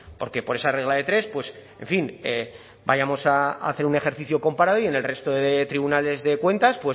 porque por esa regla de tres pues en fin vayamos a hacer un ejercicio comparado y en el resto de tribunales de cuentas